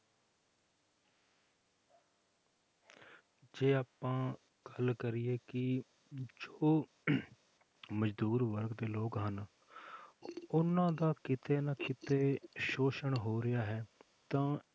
ਜੇ ਆਪਾਂ ਗੱਲ ਕਰੀਏ ਕਿ ਜੋ ਮਜ਼ਦੂਰ ਵਰਗ ਦੇ ਲੋਕ ਹਨ ਉਹਨਾਂ ਦਾ ਕਿਤੇ ਨਾ ਕਿਤੇ ਸ਼ੋਸ਼ਣ ਹੋ ਰਿਹਾ ਹੈ ਤਾਂ